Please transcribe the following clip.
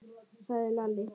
sagði Lalli.